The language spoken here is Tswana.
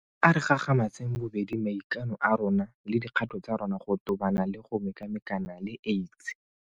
A re gagamatseng bobedi maikano a rona le dikgato tsa rona go tobana le go mekamekana le AIDS.